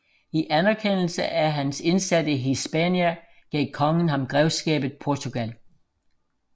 I anerkendelse af hans indsat i Hispania gav kongen ham grevskabet Portugal